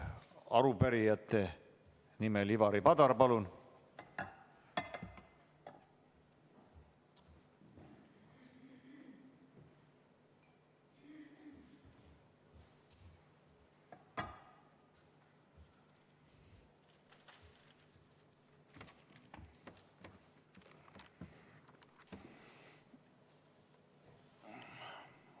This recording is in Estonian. Arupärijate nimel Ivari Padar, palun!